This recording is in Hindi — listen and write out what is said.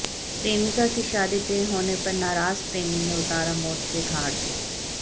प्रेमिका की शादी तय होने पर नाराज प्रेमी ने उतारा मौत के घाट